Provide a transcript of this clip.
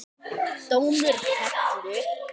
Dómur fellur